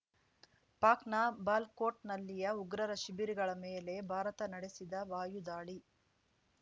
ಪಾಕ್‌ನ ಬಾಲ್ ಕೋಟ್‌ನಲ್ಲಿಯ ಉಗ್ರರ ಶಿಬಿರಗಳ ಮೇಲೆ ಭಾರತ ನಡೆಸಿದ ವಾಯು ದಾಳಿ